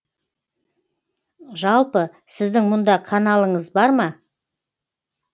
жалпы сіздің мұнда каналыңыз бар ма